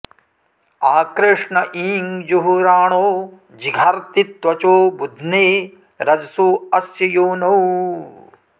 आ कृष्ण ईं जुहुराणो जिघर्ति त्वचो बुध्ने रजसो अस्य योनौ